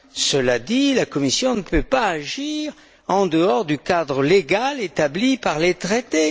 Cela dit, la Commission ne peut pas agir en dehors du cadre légal établi par les Traités.